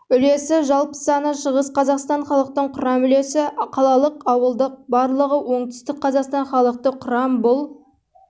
үлесі жалпы саны шығыс қазақстан халықтың құрам үлесі қалалық ауылдық барлығы оңтүстік қазақстан халықты құрам бұл